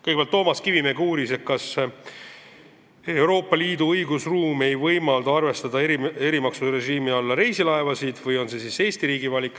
Kõigepealt uuris Toomas Kivimägi, kas Euroopa Liidu õigusruum ei võimalda reisilaevasid erimaksurežiimi alla arvestada või on see Eesti riigi valik.